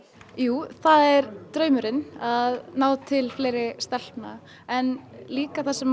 jú það er draumurinn að ná til fleiri stelpna en líka þar sem